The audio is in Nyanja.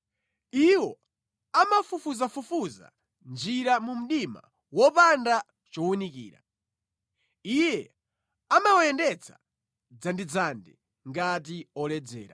Iwo amafufuzafufuza njira mu mdima wopanda chowunikira; Iye amawayendetsa dzandidzandi ngati oledzera.